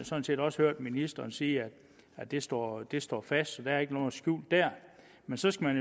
sådan set også hørt ministeren sige at det står det står fast så der er ikke noget skjult der men så skal